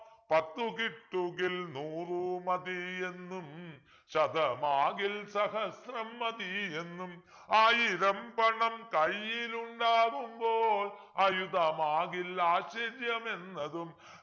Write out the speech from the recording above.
പത്തു കിട്ടുകിൽ നൂറു മതിയെന്നും ശതമാകിൽ സഹസ്രം മതിയെന്നും ആയിരം പണം കൈയ്യിൽ ഉണ്ടാകുമ്പോൾ അയുതമാകിലാശ്ചര്യമെന്നതും